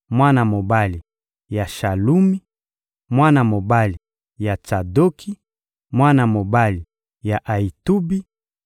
mwana mobali ya Shalumi, mwana mobali ya Tsadoki, mwana mobali ya Ayitubi,